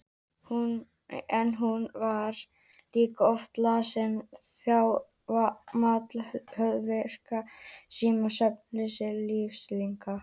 En hún var líka oft lasin, þjáð af máttleysi, höfuðverk, svima, svefnleysi, lystarleysi.